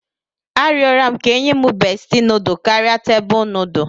Arịọrọ m ka e nye m beesti nudu karịa tebụl nudu